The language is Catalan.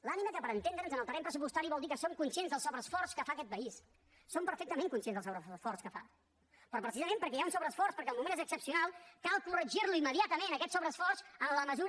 l’ànima que per entendre’ns en el terreny pressupostari vol dir que som conscients del sobreesforç que fa aquest país som perfectament conscients del sobreesforç que fa però precisament perquè hi ha un sobreesforç perquè el moment és excepcional cal corregir lo immediatament aquest sobreesforç en la mesura